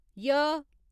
य